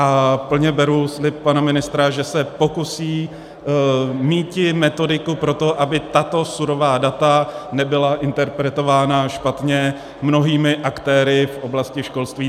A plně beru slib pana ministra, že se pokusí míti metodiku pro to, aby tato surová data nebyla interpretována špatně mnohými aktéry v oblasti školství.